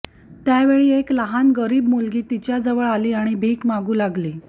त्यावेळी एक लहान गरीब मुलगी तिच्याजवळ आली आणि भीक मागू लागली